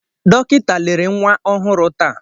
Dọkịta lere nwa ọhụrụ taa.